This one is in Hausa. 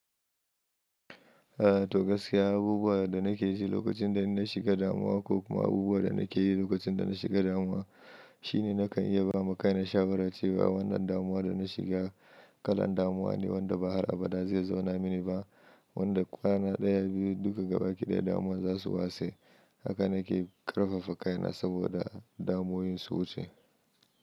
A to gaskiya abubuwa da nake ji lokacin da inna shiga damuwa ko kuma abubuwan da nake yi lokacin da na shiga damuwa shine nakan iya ba ma kaina shawara cewa wannan damuwa da na shiga kalan damuwa ne wanda ba har abada zai zauna mini ba wanda kwana ɗaya biyu duka gaba ki ɗaya damuwan zasu wace haka nake ƙarfafa kaina sabo da damuwowin su wuce.